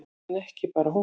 En ekki bara hún.